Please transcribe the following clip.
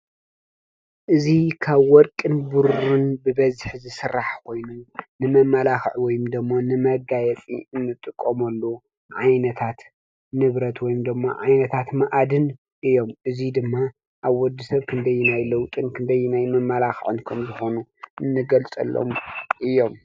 እዚ ካብ ወርቅን ብሩርን ብበዝሒ ዝስራሕ ኮይኑ ንመማላክዒ ወይ ድማ ንመጋየፂ እንጥቀመሉ ዓይነታት ንብረት ወይ ድማ ዓይነታት መኣድን እዮም። እዙይ ድማ ኣብ ወዲ ሰብ ክንደይናይ ለውጥን ክንደይናይ መማላክዕን ከም ዝኮነ እንገልፀሎም እዮም፡፡